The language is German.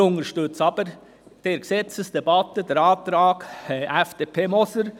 Wir unterstützen jedoch den Antrag FDP/Sommer und den Antrag EVP/Wenger.